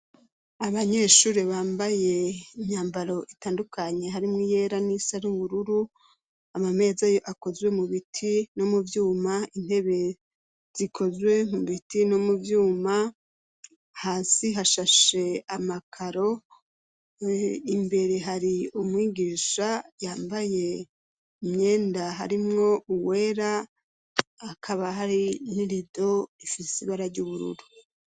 Abanyeshuri bambaye imyambaro itandukanye harimwo iyera n'iyisa n'ubururu, amameza yo akozwe mu biti no mu vyuma, intebe zikozwe mu biti no mu vyuma, hasi hashashe amakaro, imbere hari umwigisha yambaye imyenda harimwo uwera, hakaba hari n'irido ifise ibara ry'ubururu.